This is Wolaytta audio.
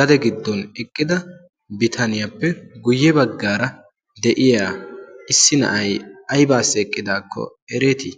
gade giddon eqqida bitaniyappe guyye baggaara de'iya issi na'ay ayibaassi eqqidaakko ereetii?